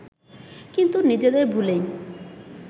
কিন্তু নিজেদের ভুলেই